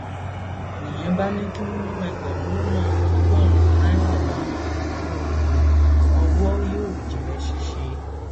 nìyẹn bá ní kí wọn mú ẹgbẹrún lọnà ọgọrùnún náírà wá oògùn ọwọ yóò jẹ ṣíṣe